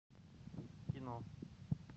кино